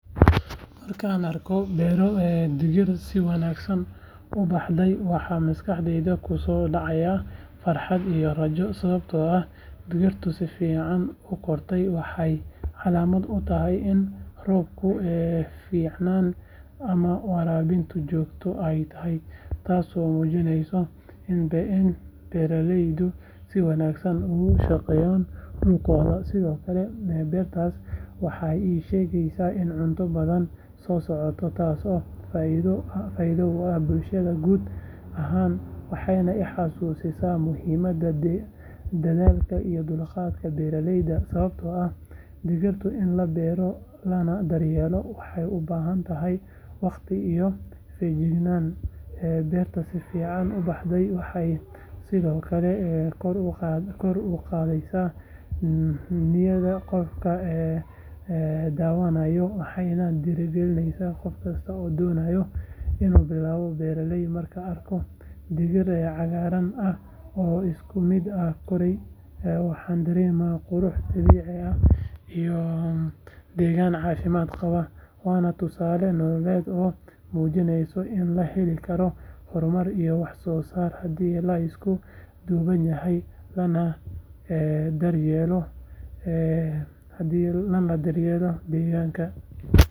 Marka aan arko beero digir si wanaagsan u baxday waxa maskaxdayda ku soo dhacaya farxad iyo rajo sababtoo ah digirta si fiican u kortay waxay calaamad u tahay in roobku fiicnaa ama waraabintu joogto ahayd taasoo muujinaysa in beeralaydu si wanaagsan ugu shaqeeyeen dhulkooda sidoo kale beertaas waxay ii sheegaysaa in cunto badani soo socoto taasoo faa’iido u ah bulshada guud ahaan waxay i xasuusisaa muhiimada dadaalka iyo dulqaadka beeraleyda sababtoo ah digirta in la beero lana daryeelo waxay u baahan tahay waqti iyo feejignaan beerta si fiican u baxday waxay sidoo kale kor u qaadaysaa niyadda qofka daawanaya waxayna dhiirigelinaysaa qof kasta oo doonaya inuu bilaabo beeraleynimo markaan arko digir cagaarka ah oo isku mid ah koray waxaan dareemaa qurux dabiici ah iyo degaan caafimaad qaba waana tusaale nololeed oo muujinaya in la heli karo horumar iyo wax soo saar haddii la isku duubnaado lana daryeelo deegaanka.